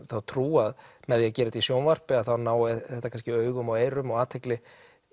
þá trú að með því að gera þetta í sjónvarpi þá nái þetta kannski augum og eyrum og athygli